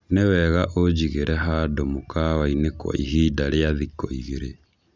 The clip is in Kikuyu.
Nĩ wega ũnjigĩre handũ mukawa-ini kwa ihinda rĩa thikũ igĩrĩ.